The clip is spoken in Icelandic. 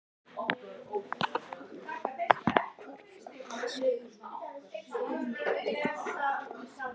Hann hvarflar aðeins augum til hennar og barnanna.